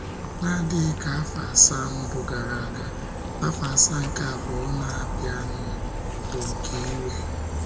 N’adịghị ka afọ asaa mbụ gara aga, afọ asaa nke abụọ a na-abianu bụ nke iwe.